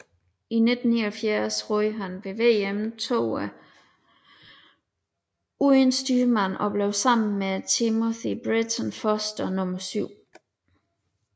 I 1979 roede han ved VM toer uden styrmand og blev sammen med Timothy Britton Foster nummer syv